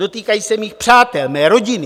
Dotýkají se mých přátel, mé rodiny.